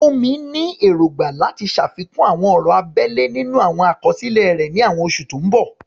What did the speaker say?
Funmi ní èrògbà láti ṣàfikún àwọn ọ̀rọ̀ abẹ́lẹ̀ nínú àwọn àkọsílẹ̀ rẹ̀ ní àwọn oṣù tó ń bọ̀.